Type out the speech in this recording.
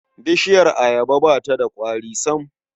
Bishiyar ayaba ba ta da ƙwari sam.